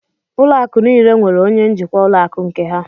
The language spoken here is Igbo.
Ụlọ akụ niile nwèrè onye njikwa ụlọ akụ nke ha